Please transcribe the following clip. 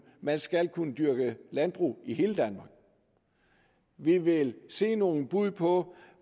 man skal kunne dyrke landbrug i hele danmark vi vil se nogle bud på